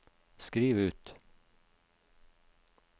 skriv ut